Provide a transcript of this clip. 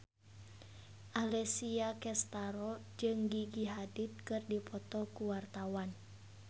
Alessia Cestaro jeung Gigi Hadid keur dipoto ku wartawan